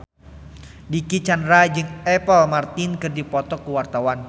Dicky Chandra jeung Apple Martin keur dipoto ku wartawan